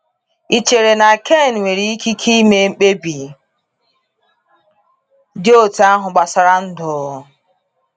Ị chere na Ken nwere ikike ime mkpebi dị otú ahụ gbasara ndụ?